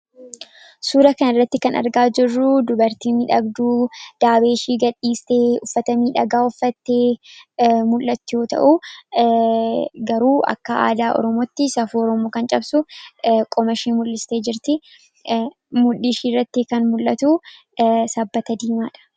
suura kan irratti kan argaa jirruu dubartii midhagduu daabeeshii gad-dhiistee uffatamii dhagaa uffattee mul'atti yoo ta'uu garuu akka aadaa ormotti safurmo kan cabsu qomashii mul'iste jirti muddhishii irratti kan mul'atu saa diimaadha